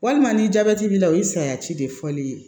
Walima ni jabɛti b'i la o ye sayasi de fɔli ye